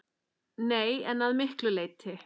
Nei, en að miklu leyti.